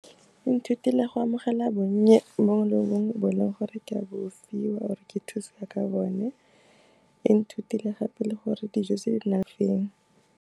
E nthutile go amogela bonnye bongwe le bongwe bo e leng gore ke a bo fiwa or-e ke thusiwa ka bone, e nthutile gape le gore dijo tse di .